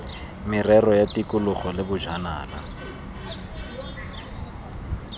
merero ya tikologo le bojanala